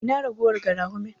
Ina ragowar garafunin?